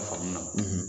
Faamu na